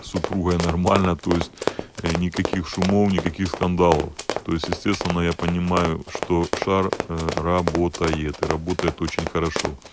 супругой нормально то есть никаких шумов никаких скандалов то есть естественно я понимаю что шар работает и работает очень хорошо